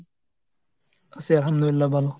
জি আলহামদুলিল্লাহ, ভালো.